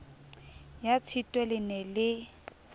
ya tshitwe le ne le